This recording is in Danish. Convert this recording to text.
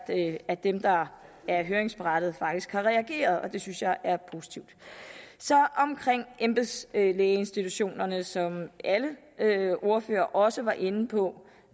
at dem der er høringsberettigede faktisk har reageret og det synes jeg er positivt omkring embedslægeinstitutionerne som alle ordførere også var inde på